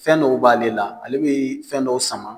Fɛn dɔw b'ale la ale bɛ fɛn dɔw sama